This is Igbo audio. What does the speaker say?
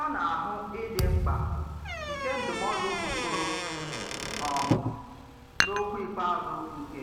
A na-àhụ̀ ídì mkpà nke ndụmọdụ Okoro um n’ọ̀kwù íkpè azụ nke